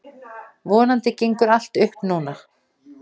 Vonandi gengur allt upp núna.